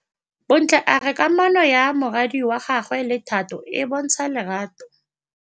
Bontle a re kamanô ya morwadi wa gagwe le Thato e bontsha lerato.